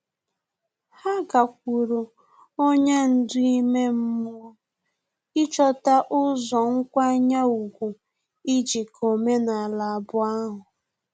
Ha gakwuru onye ndú ime mmụọ ịchọta ụzọ nkwanye ùgwù ijikọ omenala abụọ ahu